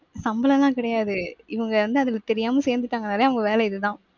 சம்பளம் எல்லாம் கிடையாது. இவங்க வந்து அதுல தெரியாம சேர்ந்துட்டாங்கன்னாலே அவங்க வேலை இதுதான்.